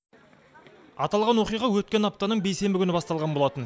аталған оқиға өткен аптаның бейсенбі күні басталған болатын